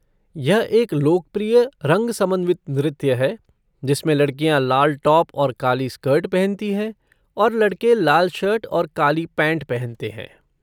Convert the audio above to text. यह एक लोकप्रिय रंग समन्वित नृत्य है जिसमें लड़कियाँ लाल टॉप और काली स्कर्ट पहनती हैं और लड़के लाल शर्ट और काली पैंट पहनते हैं।